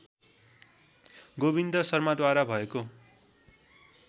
गोविन्द शर्माद्वारा भएको